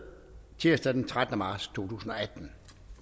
tirsdag den trettende marts totusinde og attende